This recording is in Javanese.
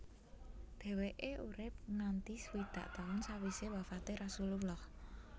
Dheweke urip nganti swidak taun sawise wafate Rasulullah